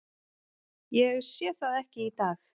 Ég sé það ekki í dag.